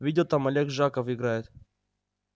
видел там олег жаков играет